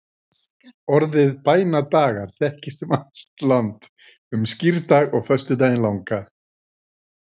Orðið bænadagar þekkist um allt land um skírdag og föstudaginn langa.